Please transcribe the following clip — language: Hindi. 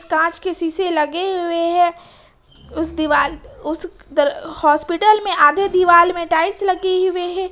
कांच के शीशे लगे हुए हैं उस दीवाल पे उस हॉस्पिटल में आधे दिवाल में टाइल्स लगी हुए है।